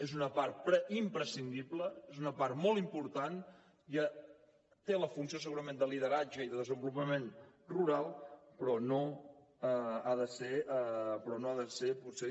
és una part imprescindible és una part molt important té la funció segurament de lideratge i de desenvolupament rural però no ha de ser potser